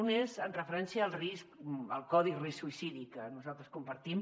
un és amb referència al risc el codi risc suïcidi que nosaltres compartim